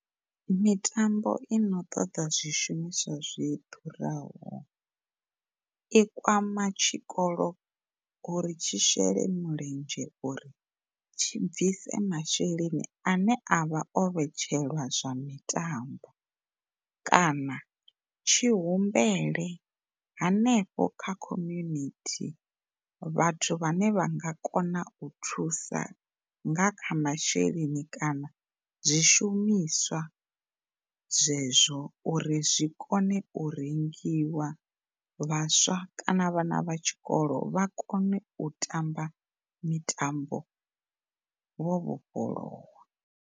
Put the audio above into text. Mitambo ino ṱoḓa zwi shumiswa zwi ḓuraho i kwama tshikolo uri tshi shele mulenzhe uri tshi bvise masheleni ane avha o vhetshelwa zwa mitambo kana tshi humbele hanefho kha community vhathu vhane vha nga kona u thusa nga kha masheleni kana zwishumiswa zwezwo uri zwi kone u rengiwa vhaswa kana na vhana vha tshikolo vha kone u tamba mitambo vhofholowa.